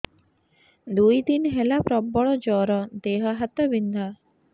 ଦୁଇ ଦିନ ହେଲା ପ୍ରବଳ ଜର ଦେହ ହାତ ବିନ୍ଧା